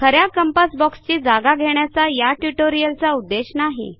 ख या कंपास बॉक्सची जागा घेण्याचा या ट्युटोरियलचा उद्देश नाही